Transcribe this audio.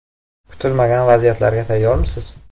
Kutilmagan vaziyatlarga tayyormisiz?